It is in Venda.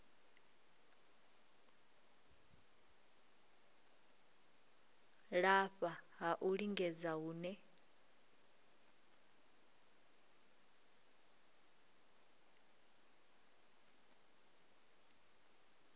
lafha ha u lingedza hune